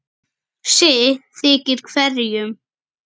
sitt þykir hverjum